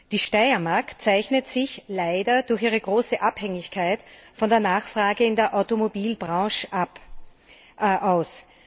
Die Steiermark zeichnet sich leider durch ihre große Abhängigkeit von der Nachfrage in der Automobilbranche aus.